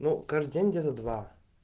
ну каждый день где-то два